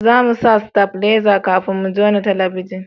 za mu sa stabileza kafin mu jona talabijin